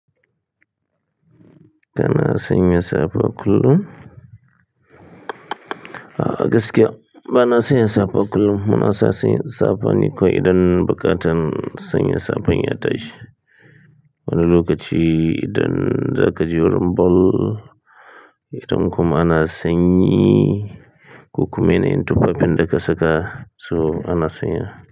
Kana sanya safa kullum? A'a gaskiya bana sanya safa kullum. Muna sa sanya safa ni kawai idan buƙatan sanya safan ya tashi. Wani lokacin idan zaka je idan kuma sanyi koma mene duk abunda ka saka.